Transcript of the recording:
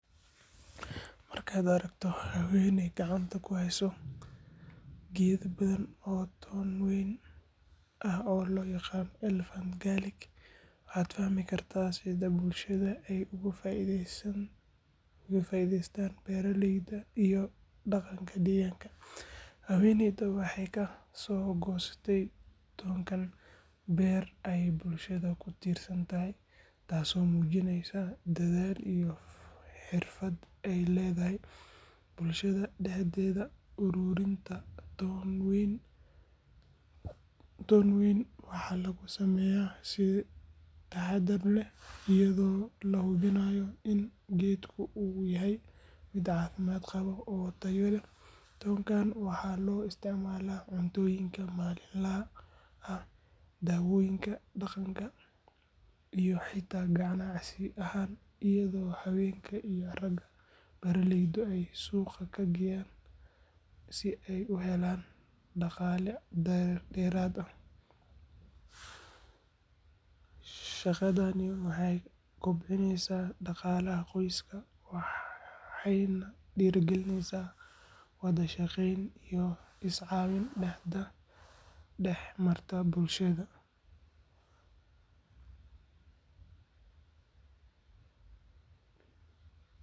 Markaad aragto haweeney gacanta ku haysa geedo badan oo toon weyn ah oo loo yaqaan "elephant garlic," waxaad fahmi kartaa sida bulshada ay uga faa’iideystaan beeralayda iyo dhaqanka deegaanka. Haweeneydan waxay ka soo goostay toonkan beer ay bulshada ku tiirsan tahay, taasoo muujineysa dadaal iyo xirfad ay leedahay. Bulshada dhexdeeda, ururinta toon weyn waxaa lagu sameeyaa si taxadar leh iyadoo la hubinayo in geedku uu yahay mid caafimaad qaba oo tayo leh. Toonkan waxaa loo isticmaalaa cuntooyinka maalinlaha ah, daawooyinka dhaqanka, iyo xitaa ganacsi ahaan, iyadoo haweenka iyo ragga beeralaydu ay suuqa ka geeyaan si ay u helaan dhaqaale dheeraad ah. Shaqadani waxay kobcisaa dhaqaalaha qoysaska waxayna dhiirrigelisaa wada shaqayn iyo is caawin dhex marta bulshada.